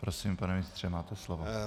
Prosím, pane ministře, máte slovo.